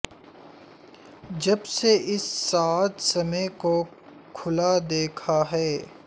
جب سے اس ساعد سمیں کو کھلا دیکھا ہے